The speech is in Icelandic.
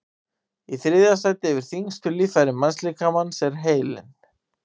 í þriðja sæti yfir þyngstu líffæri mannslíkamans er heilinn